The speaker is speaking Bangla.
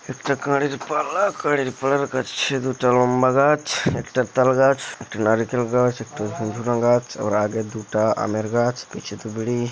একটা কারির পাল্লা কারির পাল্লার কাছে দুটো লম্বা গাছ একটা তাল গাছ একটা নারিকেল গাছ একটা ভুরভুরা গাছ আবার আগের দুটা আমের গাছ পিছে দো বিরি